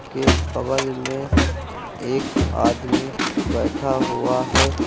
के बगल में एक आदमी बैठा हुआ है।